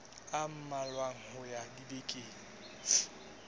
a mmalwa ho ya dibekeng